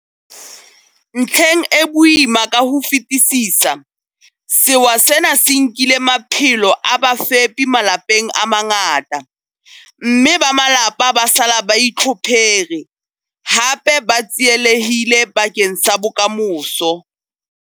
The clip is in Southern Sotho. Ntlheng e boima ka ho fetisisa, sewa sena se nkile maphelo a bafepi malapeng a mangata, mme ba malapa ba sala ba itlhophere, hape ba tsielehille bakeng sa bokamoso.